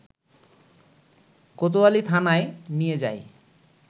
কোতোয়ালি থানায় নিয়ে যায়